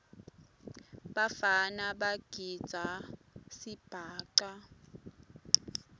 bafana bagidza sibhaca